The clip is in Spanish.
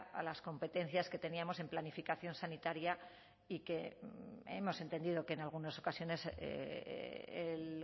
a las competencias que teníamos en planificación sanitaria y que hemos entendido que en algunas ocasiones el